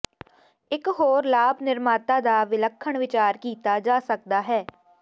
ਇੱਕ ਹੋਰ ਲਾਭ ਨਿਰਮਾਤਾ ਦਾ ਵਿਲੱਖਣ ਵਿਚਾਰ ਕੀਤਾ ਜਾ ਸਕਦਾ ਹੈ